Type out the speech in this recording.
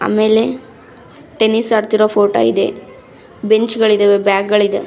ಆಮೇಲೆ ಟೆನಿಸ್ ಆಡ್ತಿರೋ ಫೋಟೋ ಇದೆ. ಬೆಂಚ್ಗಳಿದವೆ ಬ್ಯಾಗ್ ಗಳಿದವೆ .